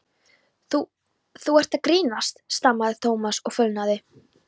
Þú- þú ert að grínast stamaði Thomas og fölnaði.